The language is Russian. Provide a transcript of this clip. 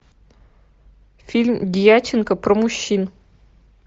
фильм дьяченко про мужчин